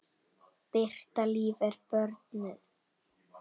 Birta Líf er börnuð.